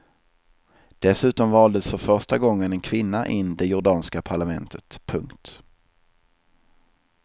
Dessutom valdes för första gången en kvinna in det jordanska parlamentet. punkt